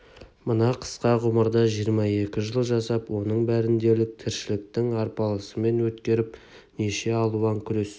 мына қысқа ғұмырда жиырма екі жыл жасап оның бәрін дерлік тіршіліктің арпалысымен өткеріп неше алуан күрес